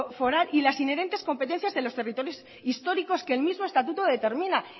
foral y las inherentes competencias de los territorios históricos que el mismo estatuto determina